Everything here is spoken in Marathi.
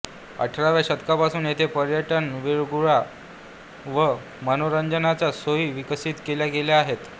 अठराव्या शतकापासून येथे पर्यटन विरंगुळा व मनोरंजनाच्या सोयी विकसित केल्या गेल्या आहेत